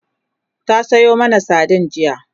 ta Sayo mana sardine jiya